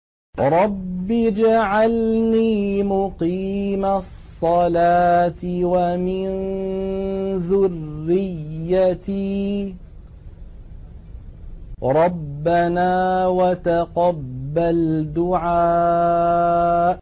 رَبِّ اجْعَلْنِي مُقِيمَ الصَّلَاةِ وَمِن ذُرِّيَّتِي ۚ رَبَّنَا وَتَقَبَّلْ دُعَاءِ